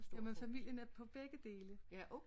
Jamen familienet på begge dele